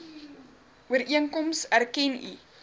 ooreenkoms erken u